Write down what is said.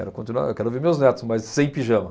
Eu quero continuar, eu quero ver meus netos, mas sem pijama.